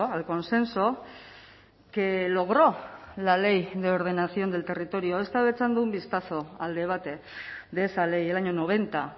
al consenso que logró la ley de ordenación del territorio he estado echando un vistazo al debate de esa ley el año noventa